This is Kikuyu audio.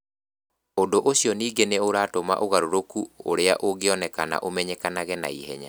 Ũndũ ũcio ningĩ nĩ ũratũma ũgarũrũku ũrĩa ũngĩoneka ũmenyekage na ihenya.